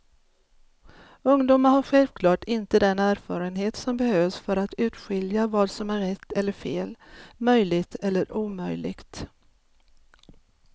Ungdomar har självklart inte den erfarenhet som behövs för att urskilja vad som är rätt eller fel, möjligt eller omöjligt.